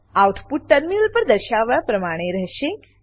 output terminal પર દર્શાવ્યા પ્રમાણે રહેશે